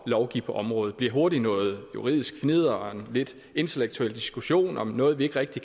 at lovgive på området bliver hurtig noget juridisk fnidder og en lidt intellektuel diskussion om noget vi ikke rigtig